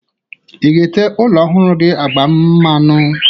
Ị ga-ete ụlọ ọhụrụ gi agwa mmanụ?